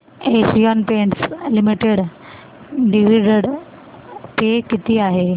Asian Paints Limited dividend pay किती आहे